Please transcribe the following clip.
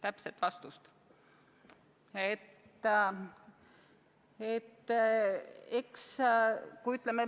Täpset vastust?